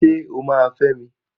Ṣé o máa fẹ́ mi?